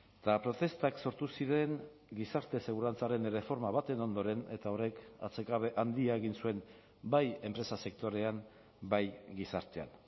eta protestak sortu ziren gizarte segurantzaren erreforma baten ondoren eta horrek atsekabe handia egin zuen bai enpresa sektorean bai gizartean